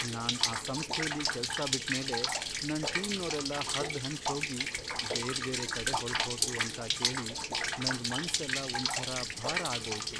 ನಾನ್ ಆ ಸಂಸ್ಥೆಲಿ ಕೆಲ್ಸ ಬಿಟ್ಮೇಲೆ ನನ್ ಟೀಮ್ನೋರೆಲ್ಲ ಹರ್ದ್ಹಂಚೋಗಿ ಬೇರ್ಬೇರೆ ಕಡೆ ಹೊರ್ಟ್ಹೋದ್ರು ಅಂತ ಕೇಳಿ ನಂಗ್ ಮನ್ಸೆಲ್ಲ ಒಂಥರ ಭಾರ ಆಗೋಯ್ತು.